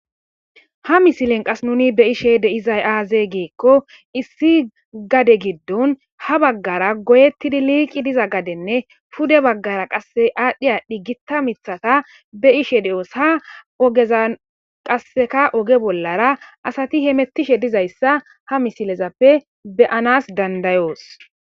ha misilen qas nuni be ishe deizay aaze geekko issi gade giddon ha baggara goyettidi liiqi diza gadenne pude baggara qasse aadhdhi aadhi gita mithata be ishe de7os ha ogezan qasseka oge bollara asati hemettishe dizayssa ha misilezappe beyanas dandayoos